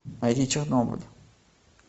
найди чернобыль